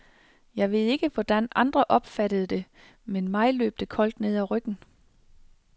Jeg ved ikke hvordan andre opfattede det, men mig løb det koldt ned ad ryggen.